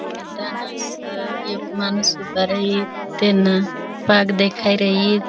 इदा न अस एक माणस उबा राई तेन बाग देखाई रई --